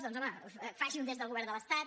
doncs home faci ho des del govern de l’estat